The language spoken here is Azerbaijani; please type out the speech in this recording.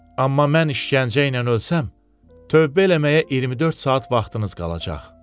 Amma mən işgəncə ilə ölsəm, tövbə eləməyə 24 saat vaxtınız qalacaq.